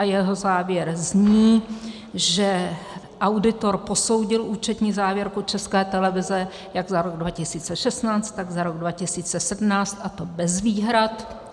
A jeho závěr zní, že auditor posoudil účetní závěrku České televize jak za rok 2016, tak za rok 2017, a to bez výhrad.